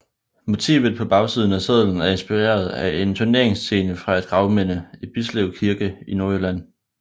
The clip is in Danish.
Motivet på bagsiden af sedlen er inspireret af en turneringsscene fra et gravminde i Bislev Kirke i Nordjylland